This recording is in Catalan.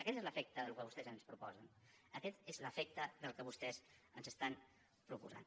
aquest és l’efecte del que vostès ens proposen aquest és l’efecte del que vostès ens estan proposant